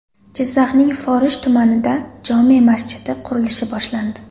Jizzaxning Forish tumanida jome masjidi qurilishi boshlandi.